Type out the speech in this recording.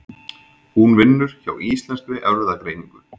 Hún vinnur hjá Íslenskri Erfðagreiningu.